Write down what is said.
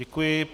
Děkuji.